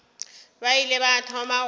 ba ile ba thoma go